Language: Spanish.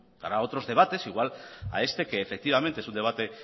estará a otros debates igual a este que efectivamente es un debate